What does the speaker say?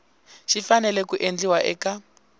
xi fanele ku endliwa eka